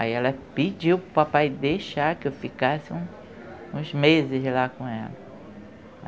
Aí ela pediu para o papai deixar que eu ficasse uns meses lá com ela.